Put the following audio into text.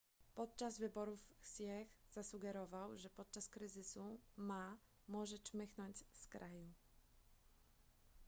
podczas wyborów hsieh zasugerował że podczas kryzysu ma może czmychnąć z kraju